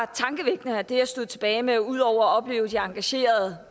tankevækkende og det jeg stod tilbage med ud over at opleve både de engagerede